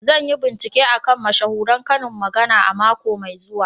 Zan yi bincike a kan mashahuran karin magana a mako mai zuwa.